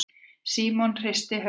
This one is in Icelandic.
Símon hristi höfuðið.